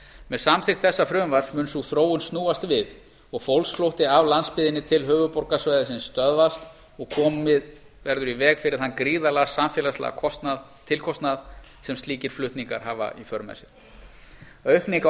með samþykkt þessa frumvarps mun sú þróun snúast við og fólksflótti af landsbyggðinni til höfuðborgarsvæðisins stöðvast og komið í veg fyrir þann gríðarlega samfélagslega tilkostnað sem slíkir hreppaflutningar hafa í för með sér aukning á